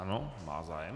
Ano, má zájem.